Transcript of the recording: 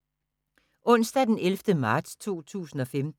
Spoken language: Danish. Onsdag d. 11. marts 2015